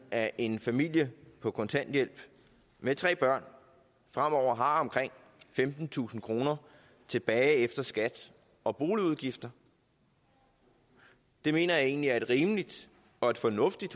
at en familie på kontanthjælp med tre børn fremover har omkring femtentusind kroner tilbage efter skat og boligudgifter det mener jeg egentlig er et rimeligt og et fornuftigt